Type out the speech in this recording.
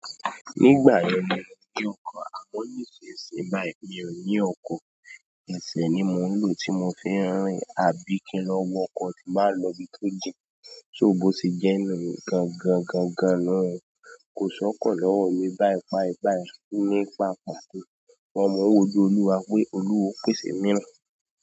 Nígbà yẹn ni mo ní ọkọ̀ àmọ́ nísìnsìnyí báyìí mi ò ní ọkọ̀, ẹsẹ̀ ni mò ń lò tí mo fi ń rìn. À bí kí n lọ wọ ọkọ̀ tí n bá lọ ibi tó jìn, so, bóṣe jẹ́ nìyí o gangan, gangan nùhun kò sọ́kọ̀ lọ́wọ́ mi báyiì páipái, ní pàpà, but mò ń wóju Olúwa pé Olúwa yó pèsè mìíràn.